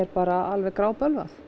bara alveg grábölvað